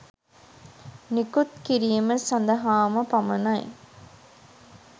නිකුත් කිරීම සඳහාම පමණයි.